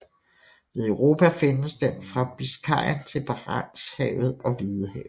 Ved Europa findes den fra Biscayen til Barentshavet og Hvidehavet